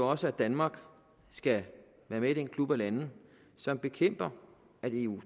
også at danmark skal være med i den klub af lande som bekæmper at eu